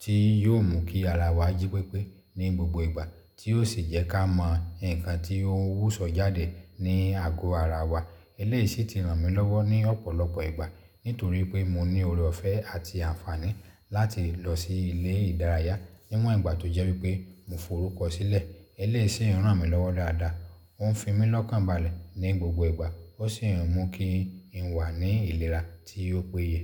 tí yóò mú kí ara wa ji pípé ní gbogbo ìgbà tí ó sì jẹ́ ká mọ nǹkan tí ó wúsọ jáde ní àgọ ara wa. Ilé yìí sì ti ràn mí lọ́wọ́ ní ọ̀pọ̀lọpọ̀ ìgbà. Nítorí pé mo ní ọ̀rẹ́ ọ̀fẹ́ àti àǹfààní láti lọ sí ilé ìdárayá nímọ̀ ìgbà tó jẹ́ wípé mo forúkọ sílẹ̀. Ilé yìí ń ràn mí lọ́wọ́ dáadáa. Ó ń fi mí lọ́kànbalẹ̀ ní gbogbo ìgbà ó sì ń mú kí n wà ní ìlera tí ó péye.